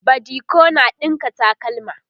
badiko na ɗinka takalma